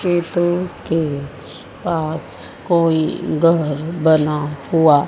खेतों के पास कोई घर बना हुआ--